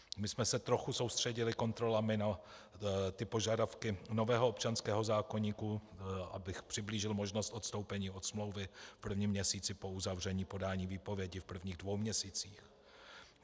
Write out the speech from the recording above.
My jsme se trochu soustředili kontrolami na ty požadavky nového občanského zákoníku, abych přiblížil, možnost odstoupení od smlouvy v prvním měsíci po uzavření podání výpovědi v prvních dvou měsících.